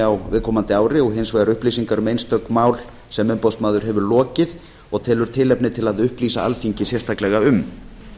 á viðkomandi ári og hins vegar upplýsingar um einstök mál sem umboðsmaður hefur lokið og telur tilefni til að upplýsa alþingi sérstaklega um